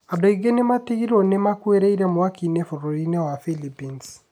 Andũ aingĩ nĩ metigĩirũo nĩ makũĩrĩire mwaki-inĩ bũrũri-inĩ wa Philippines.